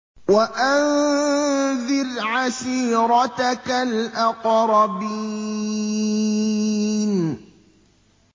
وَأَنذِرْ عَشِيرَتَكَ الْأَقْرَبِينَ